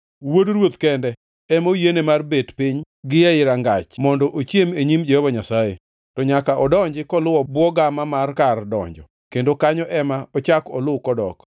Wuod ruoth kende ema oyiene mar bet piny gi ei rangach mondo ochiem e nyim Jehova Nyasaye. To nyaka odonji koluwo bwo gama mar kar donjo kendo kanyo ema ochak oluw kodok.”